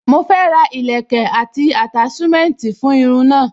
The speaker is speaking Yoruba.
Mo fẹ́ ra ìlẹ́kẹ̀ àti attachment fún irun náà.